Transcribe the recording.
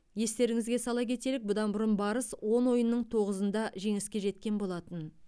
естеріңізге сала кетелік бұдан бұрын барыс он ойынның тоғызында жеңіске жеткен болатын